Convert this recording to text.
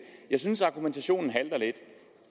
jeg synes argumentationen halter lidt